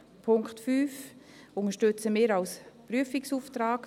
Den Punkt 5 unterstützen wir als Prüfungsauftrag.